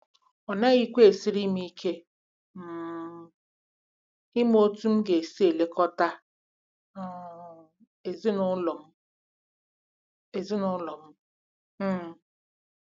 Ọ naghịkwa esiri m ike um ịma otú m ga-esi na-elekọta um ezinụlọ m. ezinụlọ m. um